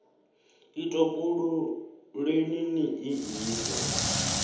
i topoleni ni i ise